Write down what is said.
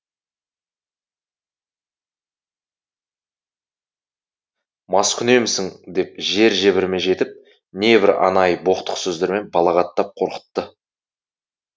маскүнемсің деп жер жебіріме жетіп небір анайы боқтық сөздермен балағаттап қорқытты